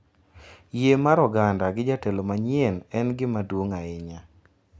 Yie mar oganda gi jatelo manyien en gima duong’ ahinya,